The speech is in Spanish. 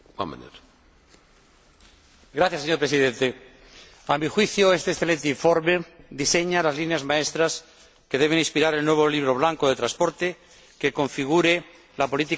Señor Presidente, a mi juicio, este excelente informe diseña las líneas maestras que deben inspirar el nuevo Libro Blanco del transporte que configure la política europea de transportes para los próximos diez años.